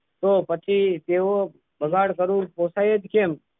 તો પછી તેઓ બગાડ કરું પોસાય જ કેમ?